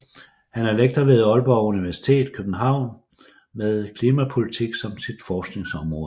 Hun er lektor ved Aalborg Universitet København med klimapolitik som sit forskningsområde